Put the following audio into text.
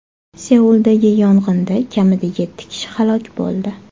Seuldagi yong‘inda kamida yetti kishi halok bo‘ldi.